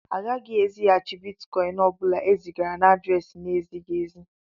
A gaghị ezighàchi Bịtkọin ọbula e zigara na adréési n'ezighị ézi